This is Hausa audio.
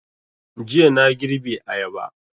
Jiya na girbe ayaba